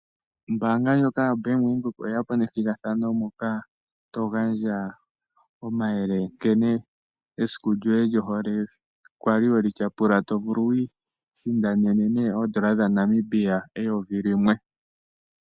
Ombaanga ndjoka yoBank Windhoek, oye ya po nethigathano moka to gandja omayele nkene esiku lyoye lyohole we li tyapula. To vulu wu isindanene ne, oondola dhaNamibia eyovi limwe.